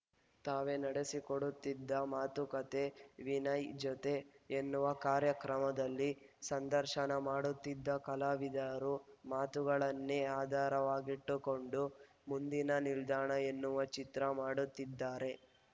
ತಾವೇ ನಡೆಸಿಕೊಡುತ್ತಿದ್ದ ಮಾತುಕತೆ ವಿನಯ್‌ ಜೊತೆ ಎನ್ನುವ ಕಾರ್ಯಕ್ರಮದಲ್ಲಿ ಸಂದರ್ಶನ ಮಾಡುತ್ತಿದ್ದ ಕಲಾವಿದರ ಮಾತುಗಳನ್ನೇ ಆಧಾರವಾಗಿಟ್ಟುಕೊಂಡು ಮುಂದಿನ ನಿಲ್ದಾಣ ಎನ್ನುವ ಚಿತ್ರ ಮಾಡುತ್ತಿದ್ದಾರೆ